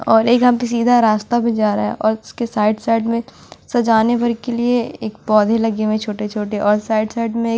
और एक सीधा रास्ता भी जा रहा है और उसके साइड साइड में सजाने पर के लिए एक पौधे लगे हुए हैं छोटे-छोटे और साइड साइड में--